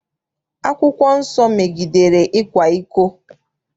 Akwụkwọ nsọ megidere ịkwa iko.